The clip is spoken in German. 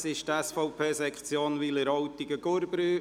Es ist die SVP Sektion Wileroltigen-Gurbrü.